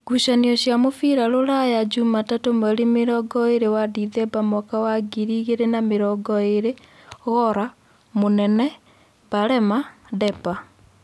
Ngucanio cia mũbira Rũraya Jumatatũ mweri mĩrongoĩrĩ wa Ndithemba mwaka wa ngiri igĩrĩ na mĩrongoĩrĩ: Gora, Munene, Barema, Depa